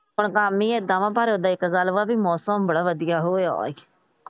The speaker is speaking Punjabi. ਹੁਣ ਕੰਮ ਈ ਏਦਾਂ ਦਾ ਪਰ ਇੱਕ ਗੱਲ ਮੌਸਮ ਬੜਾ ਵਧੀਆ ਹੋਇਆ ਈ।